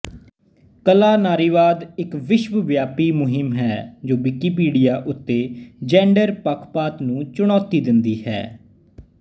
ਕਲਾ ਨਾਰੀਵਾਦ ਇੱਕ ਵਿਸ਼ਵਵਿਆਪੀ ਮੁਹਿੰਮ ਹੈ ਜੋ ਵਿਕੀਪੀਡੀਆ ਉੱਤੇ ਜੈਂਡਰ ਪੱਖਪਾਤ ਨੂੰ ਚੁਣੌਤੀ ਦਿੰਦੀ ਹੈ